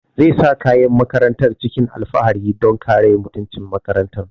Zai sa kayan makarantar cikin alfahari don kare mutuncin makarantar